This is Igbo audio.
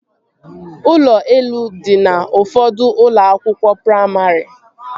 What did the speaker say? Ụlọ elu dị n'ụfọdụ ụlọ akwụkwọ praimarị